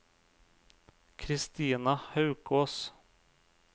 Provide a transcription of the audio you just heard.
Christina Haukås